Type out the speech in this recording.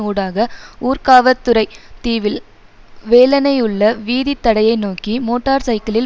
ஊடாக ஊர்காவற்துறை தீவில் வேலனை உள்ள வீதித்தடையை நோக்கி மோட்டார் சைக்கிளில்